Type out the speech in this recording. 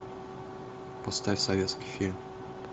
поставь советский фильм